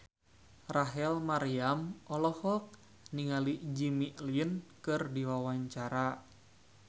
Rachel Maryam olohok ningali Jimmy Lin keur diwawancara